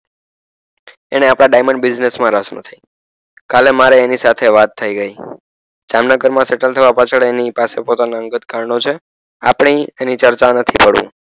એણે આપણાં diamond business મા રસ નથી કાલે મારે એની સાથે વાત થઈ ગઈ જામનગરમા સેટલ થવા પાછળ એની પાસે પોતાના અંગત કારણો છે આપણે એની ચર્ચા નથી કરવી